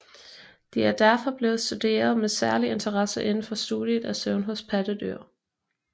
De er derfor blevet studeret med særlig interesse indenfor studiet af søvn hos pattedyr